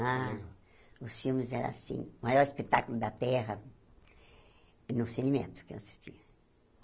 Ah, os filmes eram, assim, o maior espetáculo da Terra, no Cine metro, que eu assisti.